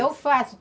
Eu faço.